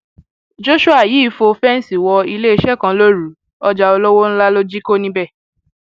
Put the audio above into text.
joshua yìí fọ fẹǹsì wọ iléeṣẹ kan lóru ọjà olówó ńlá ló jí kó níbẹ